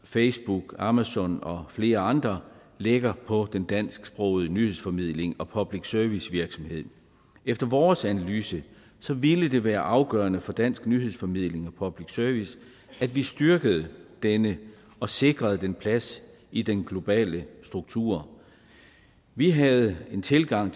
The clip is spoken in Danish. facebook amazon og flere andre lægger på den dansksprogede nyhedsformidling og public service virksomhed efter vores analyse ville det være afgørende for dansk nyhedsformidling og public service at vi styrkede den og sikrede den plads i den globale struktur vi havde den tilgang